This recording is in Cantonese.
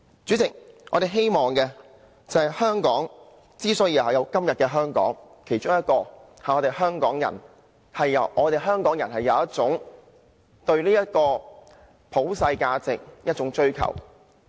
主席，香港之所以有今天，其中一點是香港人有一種對普世價值的追求。